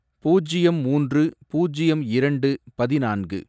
பூஜ்யம் மூன்று பூஜ்யம் இரண்டு பதினான்கு